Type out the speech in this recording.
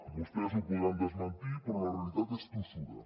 vostès ho podran desmentir però la realitat és tossuda